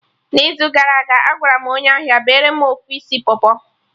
n'izu gara aga, Agwaram onye ahia bere mụ ofu isi pọpọ